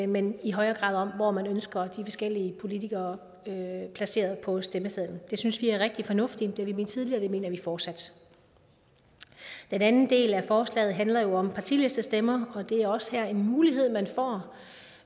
men i højere grad om hvor man ønsker de forskellige politikere placeret på stemmesedlen det synes vi er rigtig fornuftigt det har vi ment tidligere det mener vi fortsat den anden del af forslaget handler jo om partilistestemmer og det er også her en mulighed man får